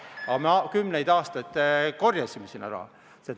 Aga me kümneid aastaid korjasime sinna raha.